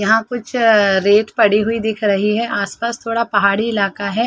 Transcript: यहाँ कुछ अअ रेत पड़ी हुई दिख रही है आस-पास थोड़ा पहाड़ी इलाका है।